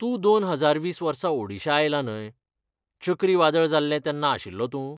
तूं दोन हजार वीस वर्सा ओडिशा आयला न्हय, चक्री वादळ जाल्लें तेन्ना आशिल्लो तूं?